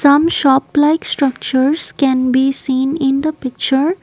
some shop like structures can be seen in the picture.